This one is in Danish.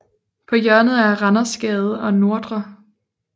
På hjørnet af Randersgade og Ndr